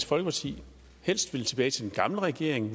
folkeparti helst vil tilbage til den gamle regering